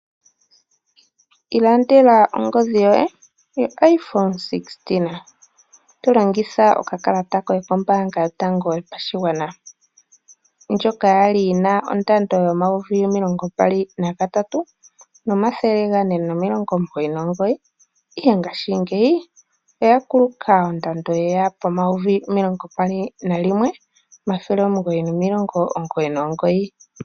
Ilandela ongodhi yoye yoIphone 16. Tolongitha okakalata koye kombaanga yotango yopashigwana, ndjoka yali yina ondando yomayovi omilongo mbali nagatatu, omathele gane omilongo omugoyi nomugoyi, ihe ngashingeyi oya kuluka ondando yeya pomayoyi omilongo mbali nalimwe, omathele omugoyi nomilongo omugoyi nomugoyi.